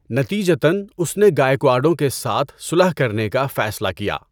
نتیجتاََ، اس نے گائیکواڈوں کے ساتھ صلح کرنے کا فیصلہ کیا۔